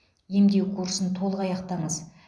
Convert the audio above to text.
емдеу курсын толық аяқтаңыз